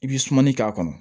I bi sumani k'a kɔnɔ